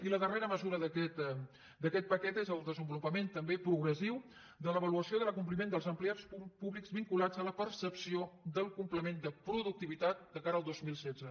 i la darrera mesura d’aquest paquet és el desenvolupament també progressiu de l’avaluació de l’acompliment dels empleats públics vinculats a la percepció del complement de productivitat de cara al dos mil setze